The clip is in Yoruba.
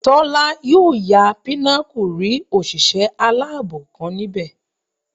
Tọ́lá yóò ya Pinnacle rí òṣìṣẹ́ aláàbò kan níbẹ̀